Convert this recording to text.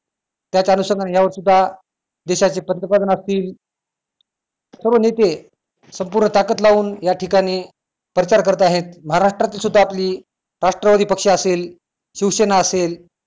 त्याच अनुषंगाने या वर्षी सुद्धा देशाचे पंतप्रधान असतील सर्व नेते संपूर्ण ताकद लावून या ठिकाणी प्रचार करत आहेत महाराष्ट्रात सुद्धा आपली राष्ट्र विपक्ष असेल शिवसेना असेल